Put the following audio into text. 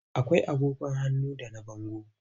Akwai agogon hannu da na bango.